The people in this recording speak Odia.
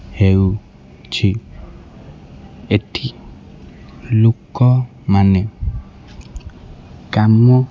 ହେଉ ଛି ଏଠି ଲୁକ ମାନେ କାମ--